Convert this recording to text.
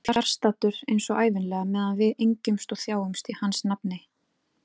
Fjarstaddur eins og ævinlega meðan við engjumst og þjáumst í hans nafni.